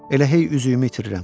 Elə hey üzüyümü itirirəm.